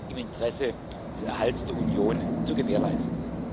im Interesse des Erhalts der Union zu gewährleisten.